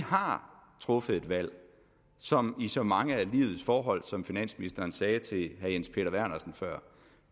har truffet et valg som i så mange af livets forhold som finansministeren sagde til herre jens peter vernersen før